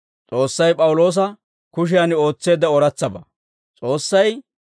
S'oossay P'awuloosa baggana dumma malaataa ootseedda.